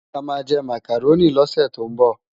Amá jè Mákáróni lòsè tó nbò